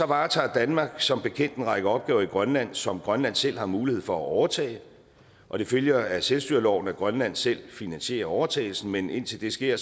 varetager danmark som bekendt en række opgaver i grønland som grønland selv har mulighed for at overtage og det følger af selvstyreloven at grønland selv finansierer overtagelsen men indtil det sker